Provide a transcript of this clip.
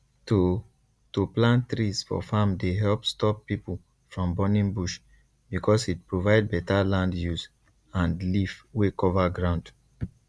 to to plant trees for farm dey help stop people from burning bush because e provide better land use and leaf wey cover ground